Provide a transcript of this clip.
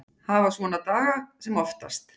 Hafa svona daga sem oftast.